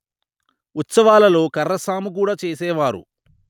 ఉత్సవాలలో కర్రసాము కూడా చేసేవారు